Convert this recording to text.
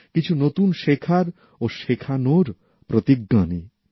কিছু নতুন শেখার ও শেখানোর প্রতিজ্ঞা নিই